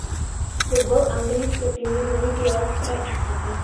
футбол английской премьер лиги лестера и сити